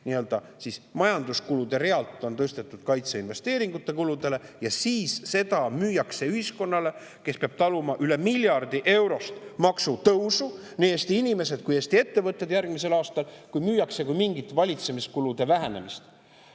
Niisiis, majanduskulude realt on tõstetud kaitseinvesteeringute kulude ja siis seda müüakse ühiskonnale, kes peab järgmisel aastal taluma üle miljardi euro suurust maksutõusu – nii Eesti inimesed kui ka Eesti ettevõtted –, kui mingit valitsemiskulude vähenemist.